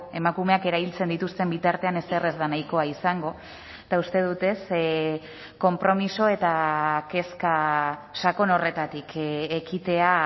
emakumeak erailtzen dituzten bitartean ezer ez da nahikoa izango eta uste dut konpromiso eta kezka sakon horretatik ekitea